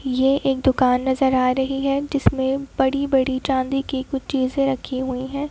यह एक दुकान नजर आ रही है जिसमें बड़ी-बड़ी चांदी की कुछ चीजें रखी हुई है।